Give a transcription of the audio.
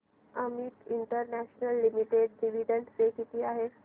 Amit international limited dividend pay किती आहे